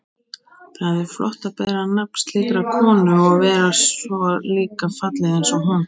Það er flott að bera nafn slíkrar konu og vera svo líka falleg einsog hún.